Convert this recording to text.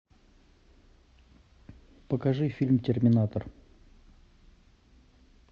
покажи фильм терминатор